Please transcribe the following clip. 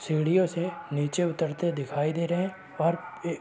सीढ़ियों से नीचे उतरते दिखाई दे रहें हैं और ऐ --